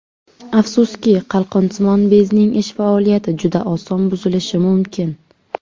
Afsuski, qalqonsimon bezning ish faoliyati juda oson buzilishi mumkin.